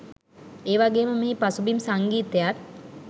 ඒවගේම මෙහි පසුබිම් සංගීතයත්